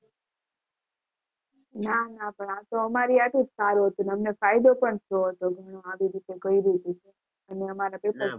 નાના પણ આ તો અમારી હાટુ જ હતું. અને અમને ફાયદો પણ થયો હતો એનો આવી રીતે કર્યું તું તો.